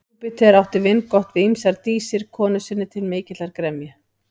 Júpíter átti vingott við ýmsar dísir konu sinni til mikillar gremju.